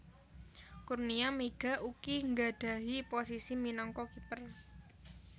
Kurnia Meiga ugi nggadhahi posisi minangka kiper